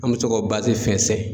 An bɛ to ka basi fɛnsɛn.